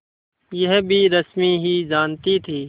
यह भी रश्मि ही जानती थी